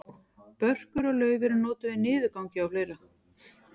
börkur og lauf eru notuð við niðurgangi og fleira